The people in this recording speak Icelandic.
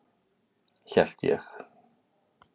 Hélt ég.